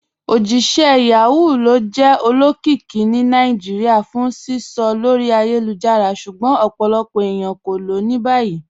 Ojíṣẹ̀ Yahoo lo jẹ́ olókìíkí ní Naijíríà fún sísọ̀ lórí ayélujára, ṣùgbọ́n ọ̀pọ̀lọpọ̀ ènìyàn ko ló ni báyì."